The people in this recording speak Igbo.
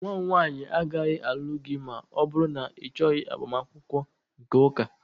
Nwa m nwanyị agaghị alụ gị ma ọ bụrụ na ịchọghị agbamakwụkwọ nke ụka